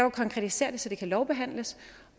at konkretisere det så det kan lovbehandles